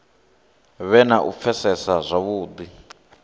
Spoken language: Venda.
vhe na u pfesesa zwavhudi